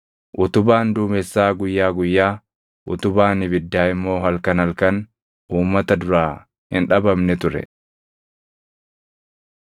Utubaan duumessaa guyyaa guyyaa, utubaan ibiddaa immoo halkan halkan uummata duraa hin dhabamne ture.